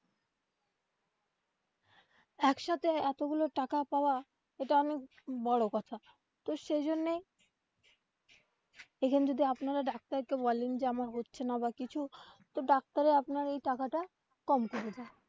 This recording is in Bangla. একসাথে এতগুলা টাকা পাওয়া এটা অনেক বড়ো কথা তো সেই জন্যেই এইখানে যদি আপনারা ডাক্তার কে বলেন যে আমার হচ্ছে না বা কিছু তো ডাক্তার রা আপনার এই টাকাটা কম করে দেয়.